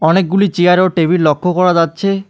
অনেকগুলি চেয়ার ও টেবিল লক্ষ করা যাচ্ছে।